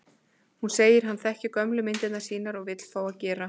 Hún segir að hann þekki gömlu myndirnar sínar og vill fá að gera